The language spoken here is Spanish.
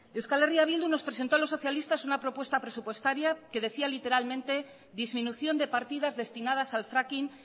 euskal herria bildu nos presentó los socialistas una propuesta presupuestaria que decía literalmente disminución de partidas destinadas al fracking